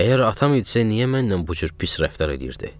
Əgər atam idisə, niyə mənlə bu cür pis rəftar eləyirdi?